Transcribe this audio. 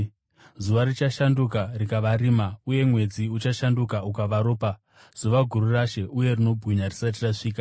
Zuva richashanduka rikava rima, uye mwedzi uchashanduka ukava ropa, zuva guru raShe uye rinobwinya risati rasvika.